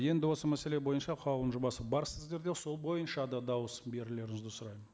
енді осы мәселе бойынша қаулының жобасы бар сіздерде сол бойынша да дауыс берулеріңізді сұраймын